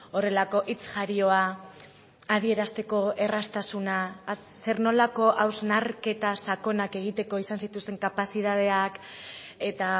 horrelako hitz jarioa adierazteko erraztasuna zer nolako hausnarketa sakonak egiteko izan zituzten kapazitateak eta